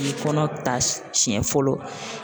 I ye kɔnɔ ta siɲɛ fɔlɔ.